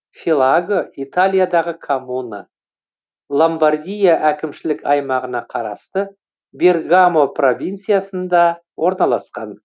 филаго италиядағы коммуна ломбардия әкімшілік аймағына қарасты бергамо провинциясында орналасқан